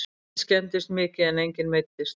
Bíll skemmdist mikið en enginn meiddist